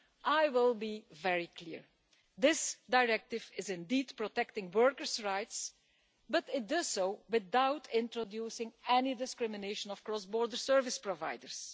I will be very clear this Directive is indeed protecting workers' rights, but it does so without introducing any discrimination of cross border service providers.